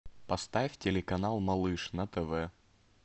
поставь телеканал малыш на тв